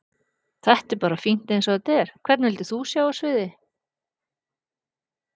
Þetta er bara fínt eins og þetta er Hvern vildir þú sjá á sviði?